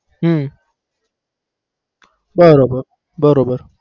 હમ બરાબર બરાબર